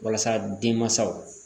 Walasa denmansaw